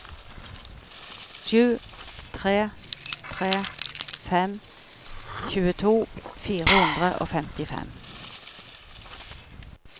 sju tre tre fem tjueto fire hundre og femtifem